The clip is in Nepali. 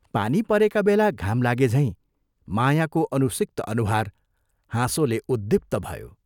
पानी परेका बेला घाम लागे झैं मायाको अनुसिक्त अनुहार हाँसोले उद्दीप्त भयो।